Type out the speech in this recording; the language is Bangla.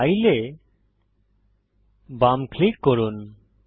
ফাইল এ বাম ক্লিক করুন